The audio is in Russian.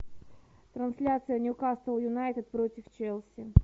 трансляция ньюкасл юнайтед против челси